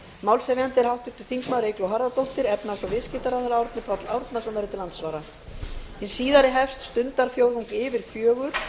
málshefjandi er háttvirtur þingmaður eygló harðardóttir efnahags og viðskiptaráðherra verður til andsvara hið síðari hefst stundarfjórðung yfir fjögur